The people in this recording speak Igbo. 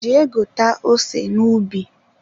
Jee ghọta ose n'ubi.